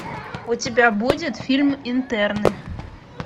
у тебя будет фильм интерны